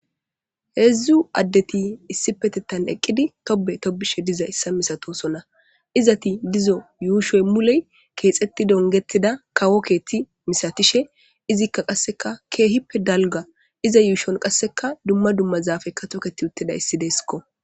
Heedzdzu addeti issi petettan eqqidi tobe tobishe diza issa misatosona izati dizo yuushoy muley keexetti dongettida kawo keethti misatishe izikka qasseka keehippe dalga iza yuushon qasseka dumma dumma zaafekka toketi uttida issi deeskko.